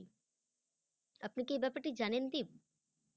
আপনি কি এই ব্যাপারটি জানেন দীপ?